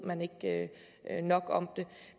man ikke ved nok om det